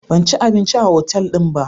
Ban ci abinci a otal din ba.